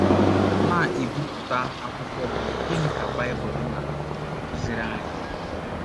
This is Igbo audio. na - ebipụta akwụkwọ bụ́ Gịnị Ka Baịbụl Na - akụziri Anyị?